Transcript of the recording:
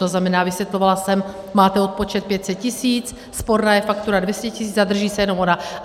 To znamená, vysvětlovala jsem, máte odpočet 500 tis., sporná je faktura 200 tis., zadrží se jenom ona.